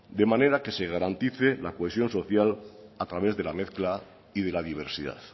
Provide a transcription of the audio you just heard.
de manera que se garantice la cohesión social a través de la mezcla y de la diversidad